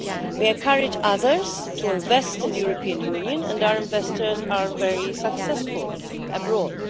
We encourage others to invest in the European Union and our investors are very successful abroad.